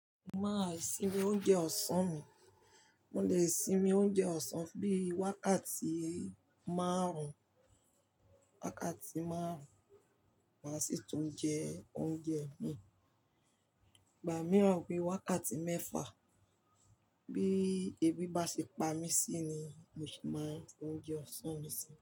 Mo máa sinmi oúnjẹ ọ̀sán mi. Mo lè sinmi oúnjẹ ọ̀sán bíi wákàtí márùn-ún, wákàtí márùn-ún, màá sì tún jẹ oúnjẹ mi. Ìgbà mìíràn bi wákàtí mẹ́fà. Bí ebi bá ṣe pa mí sí ni mo ṣe máa jẹ oúnjẹ ọ̀sán mi sí.